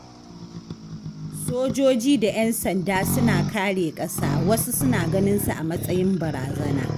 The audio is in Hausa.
Sojoji da 'yan sanda suna kare ƙasa wasu suna ganinsu a matsayin barazana.